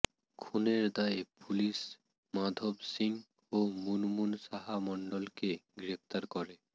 খুনের দায়ে পুলিশ মাধব সিং ও মুনমুন সাহা মণ্ডলকে গ্রেফতার করে